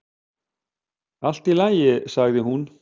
"""Allt í lagi, sagði hún."""